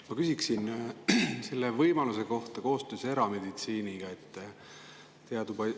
Ma küsin võimaluse kohta koostööd erameditsiiniga.